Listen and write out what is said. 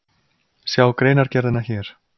Sjá greinargerðina hér